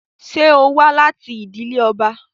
Ṣe o wa lati idile ọba?